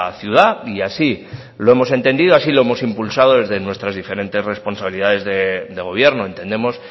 ciudad y así lo hemos entendido y así lo hemos impulsado desde nuestras diferentes responsabilidades de gobierno entendemos